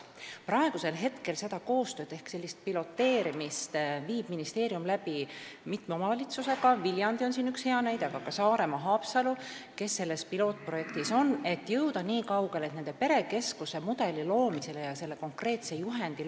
Praegu teeb ministeerium koostööd ehk piloteerimist mitme omavalitsusega – Viljandi on siin üks hea näide, aga ka Haapsalu ja Saaremaa –, et luua perekeskuse mudel ja konkreetne juhend.